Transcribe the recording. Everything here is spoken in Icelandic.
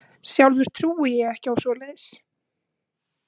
Sjálfur trúi ég ekki á svoleiðis.